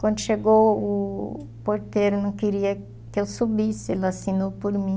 Quando chegou o porteiro não queria que eu subisse, ele assinou por mim.